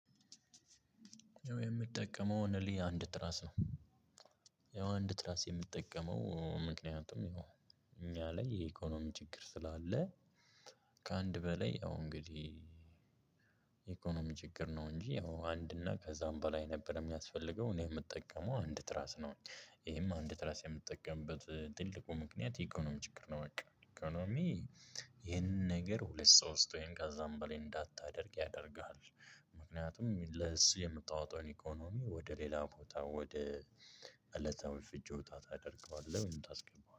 የምጠቀመው ኦንሊ አንድ ትራስ ነው። ያው አንድ ትራስ የምጠቀመው ምክንያቱም እኛ ላይ የኢኮኖሚ ችግር ስላለ። ከአንድ በላይ ያው እንግዲህ የ ኢኮኖሚ ችግር ነው እንጂ ያው አንድ እና ከዛም በላይ ነበር የሚያስፈልገው እኔ የምጠቀመው አንድ ትራስ ነው። ይሄም አንድ ትራስ የምጠቀምበት ትልቁ ምክንያት የኢኮኖሚ ችግር ነው በቃ ኢኮኖሚ ይህንን ነገር ሁለት ሶስት ወይም ከዛም በላይ እንዳታደርግ ያደርግሃል። ምክንያቱም ለሱ የምታወጣውን ኢኮኖሚ ወደ ሌላ ቦታ ወደ እለታዊ ፍጆታ ታደርገዋለህ ወይም ታስገባዋለህ